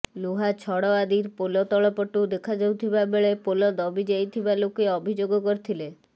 ଲୁହା ଛଡ଼ ଆଦି ପୋଲ ତଳପଟୁ ଦେଖାଯାଉଥିବା ବେଳେ ପୋଲ ଦବି ଯାଇଥିବା ଲୋକେ ଅଭିଯୋଗ କରିଥିଲେ